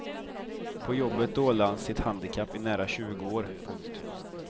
På jobbet dolde han sitt handikapp i nära tjugo år. punkt